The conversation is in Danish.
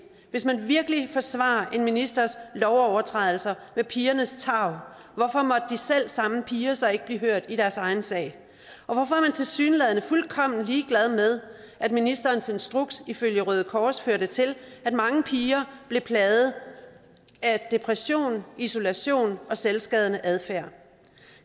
hvis man virkelig forsvarer en ministers lovovertrædelser med pigernes tarv hvorfor måtte de selv samme piger så ikke blive hørt i deres egen sag og hvorfor er man tilsyneladende fuldkommen ligeglad med at ministerens instruks ifølge røde kors førte til at mange piger blev plaget af depression isolation og selvskadende adfærd